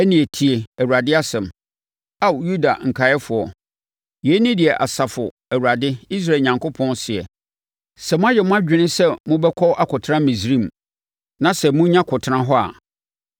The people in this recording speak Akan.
ɛnneɛ tie Awurade asɛm, Ao Yuda nkaeɛfoɔ. Yei ne deɛ Asafo Awurade Israel Onyankopɔn seɛ, ‘Sɛ moayɛ mo adwene sɛ mobɛkɔ akɔtena Misraim, na sɛ monya kɔtena hɔ a,